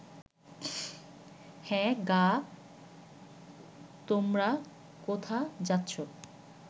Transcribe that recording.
হ্যাঁ গা তোমরা কোথা যাচ্ছ